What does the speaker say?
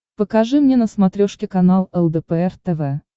покажи мне на смотрешке канал лдпр тв